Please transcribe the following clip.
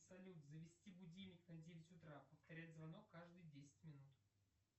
салют завести будильник на девять утра повторять звонок каждые десять минут